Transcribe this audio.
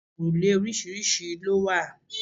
Páànù òrùlé oríṣiríṣi ló wà.